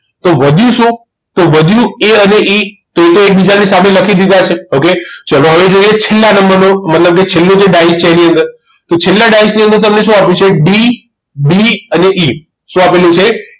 તો વધ્યું શું તો વધ્યું એ A અને E તો તો એ એકબીજાની સામે લખી દીધા છે okay તો ચલો હવે જોઈએ છેલ્લા નંબરનો મતલબ કે છેલ્લો જે ડાયસ છે એની અંદર તો છેલ્લા ડાયસની અંદર તમને શું આપેલું છે D કે B અને E શું આપેલું છે